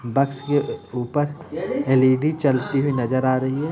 बस के ऊपर एल.इ.डी. जलती हुई नजर आ रही है।